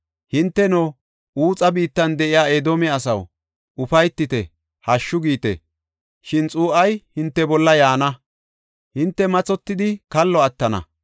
Hinteno, Uxa biittan de7iya Edoome asaw, ufaytite; hashshu giite. Shin xuu7ay hinte bolla yaana; hinte mathotidi kallo attana.